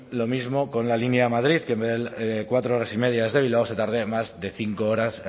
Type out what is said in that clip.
lo mismo con la línea madrid que en vez de cuatro horas y media desde bilbao se tarde más de cinco